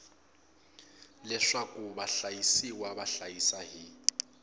leswaku vahlayisiwa va hlayisa hi